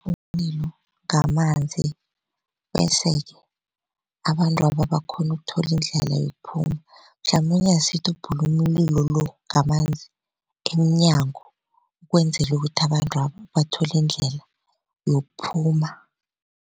Umlilo ngamanzi bese-ke abantwaba bakghone ukuthola indlela yokuphuma, mhlamunye asithi ubhula umlilo lo ngamanzi emnyango ukwenzela ukuthi abantwaba bathole iindlela yokuphuma.